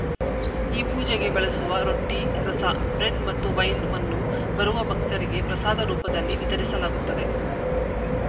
ಈ ಪೂಜೆಗೆ ಬಳಸುವ ರೊಟ್ಟಿರಸ ಬ್ರೆಡ್‌ ಮತ್ತು ವೈನ್‌ವನ್ನು ಬರುವ ಭಕ್ತರಿಗೆ ಪ್ರಸಾದ ರೂಪದಲ್ಲಿ ವಿತರಿಸಲಾಗುತ್ತದೆ